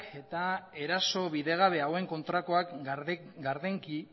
eta eraso bidegabe hauen kontrakoak gardenki